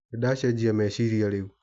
Nĩndacenjia meciria rĩu.